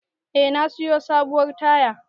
Eh, na siyo sabuwar tayar.